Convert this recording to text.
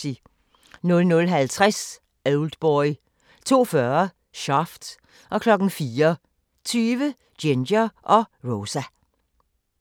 00:50: Oldboy 02:40: Shaft 04:20: Ginger & Rosa